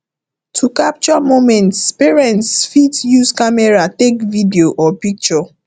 to capture moments parents fit use camera take video or picture